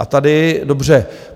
A tady dobře.